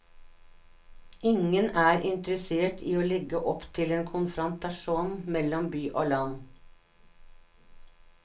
Ingen er interessert i å legge opp til en konfrontasjon mellom by og land.